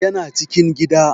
Ya na cikin gida